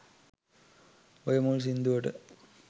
ඔය මුල් සින්දුවට